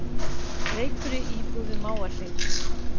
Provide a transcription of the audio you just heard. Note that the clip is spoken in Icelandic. Reykur í íbúð við Mávahlíð